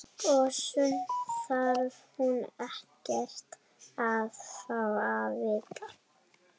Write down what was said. Og sumt þarf hún ekkert að fá að vita.